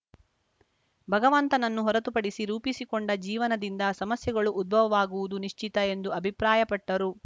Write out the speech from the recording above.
ಭಗವಂತನನ್ನು ಹೊರತುಪಡಿಸಿ ರೂಪಿಸಿಕೊಂಡ ಜೀವನದಿಂದ ಸಮಸ್ಯೆಗಳು ಉದ್ಭವವಾಗುವುದು ನಿಶ್ಚಿತ ಎಂದು ಅಭಿಪ್ರಾಯಪಟ್ಟರು